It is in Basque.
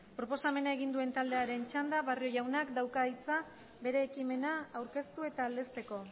proposamena egin duen taldearen txanda barrio jaunak dauka hitza bere ekimena aurkeztu eta aldezteko